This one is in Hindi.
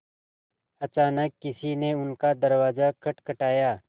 अचानक किसी ने उनका दरवाज़ा खटखटाया